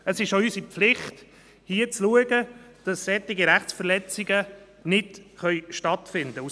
Es ist auch unsere Pflicht, zu schauen, dass solche Rechtsverletzungen nicht stattfinden können.